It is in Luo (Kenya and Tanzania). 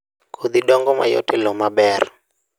Kodhi dongo mayot e lowo maber